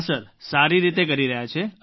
હા સર સારી રીતે કરી રહ્યા છે